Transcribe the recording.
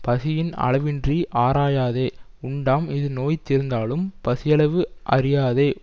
பசியின் அளவின்றி ஆராயாதே உண்டாம் இது நோய் தீர்ந்தாலும் பசியளவு அறியாதே